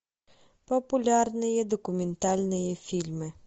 популярные документальные фильмы